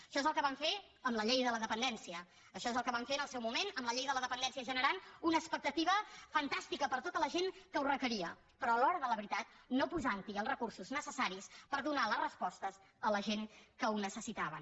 això és el que van fer amb la llei de la dependència això és el que van fer en el seu moment amb la llei de la dependència generant una expectativa fantàstica per a tota la gent que ho requeria però a l’hora de la veritat no posant hi els recursos necessaris per donar les respostes a la gent que ho necessitava